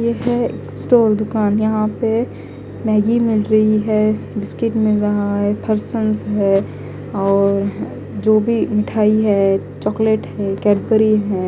यह है एक स्टोर दुकान यहां पे मैगी मिल रही है बिस्किट मिल रहा है फरसंस और जो भी मिठाई है चॉकलेट है कैडबरी है